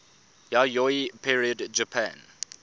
yayoi period japan